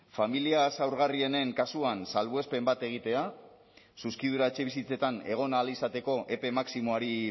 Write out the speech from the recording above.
familia zaurgarrienen kasuan salbuespen bat egitea zuzkidura etxebizitzetan egon ahal izateko epe maximoari